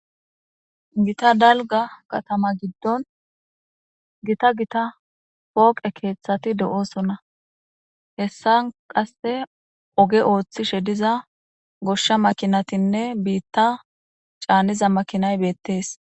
Gita dalgga katama giddon gita gita pooqe keththati de'ossonna hssan qase ooge ooththishe diza gooshsha makinayinne biitta caniza makinay beettes